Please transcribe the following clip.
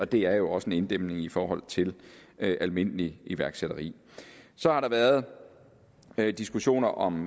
det er jo også en inddæmning i forhold til almindelig iværksætteri så har der været diskussioner om